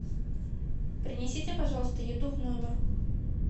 принесите пожалуйста еду в номер